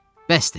Bəsdi.